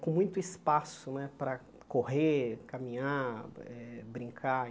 com muito espaço né para correr, caminhar, eh brincar.